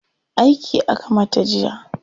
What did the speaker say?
Aiki aka mata jiya.